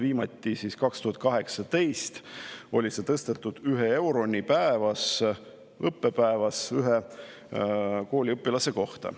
Viimati tõsteti seda aastal 2018 ühe euroni õppepäevas ühe kooliõpilase kohta.